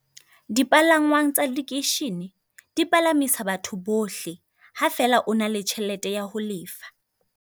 Dipalangwang tsa lekeishene di palamisa batho bohle, ha fela o na le tjhelete ya ho lefa.